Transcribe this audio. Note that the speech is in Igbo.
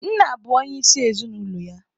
Nna bụ onyeisi ezinaụlọ ya.